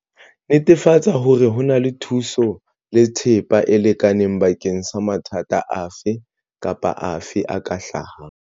Netefatsa hore ho na le thuso le thepa e lekaneng bakeng sa mathata afe kapa afe a ka hlahang.